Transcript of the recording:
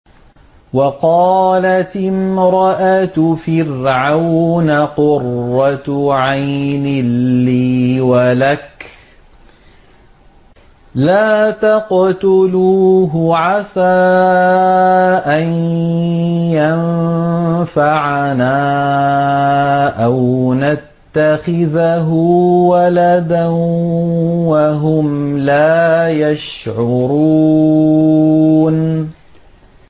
وَقَالَتِ امْرَأَتُ فِرْعَوْنَ قُرَّتُ عَيْنٍ لِّي وَلَكَ ۖ لَا تَقْتُلُوهُ عَسَىٰ أَن يَنفَعَنَا أَوْ نَتَّخِذَهُ وَلَدًا وَهُمْ لَا يَشْعُرُونَ